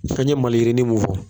fɛn ye ye maliyirini mun fɔ